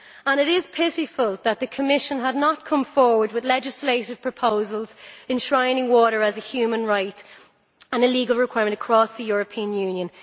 It is pitiful that the Commission had not come forward with legislative proposals enshrining water as a human right and a legal requirement across the European Union.